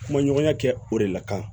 Kuma ɲɔgɔnya kɛ o de la kan